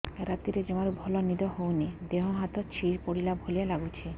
ରାତିରେ ଜମାରୁ ଭଲ ନିଦ ହଉନି ଦେହ ହାତ ଛିଡି ପଡିଲା ଭଳିଆ ଲାଗୁଚି